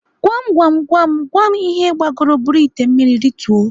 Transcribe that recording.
Gwam Gwam Gwam Gwam ihe gbagoro buru ite mmiri rituo?